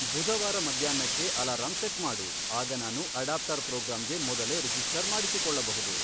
ಬುಧವಾರ ಮಧ್ಯಾಹ್ನಕ್ಕೆ alarm set ಮಾಡು, ಆಗ ನಾನು ಅಡಾಪ್ಟರ್ ಪ್ರೋಗ್ರಾಂಗೆ ಮೊದಲೇ ರಿಜಿಸ್ಟರ್ ಮಾಡಿಸಿಕೊಳ್ಳಬಹುದು